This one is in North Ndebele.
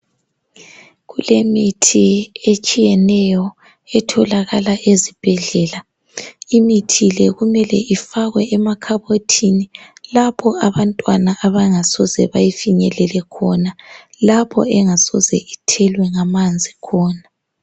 Kulemithi etshiyeneyo etholakala ezibhedlela imithi le kumele ifakwe emakhabothini lapho abantwana abangasoze befinyelele khona lapho engasoze ithelwe ngamanzi khona